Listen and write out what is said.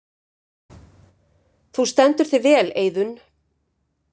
Þú stendur þig vel, Eiðunn!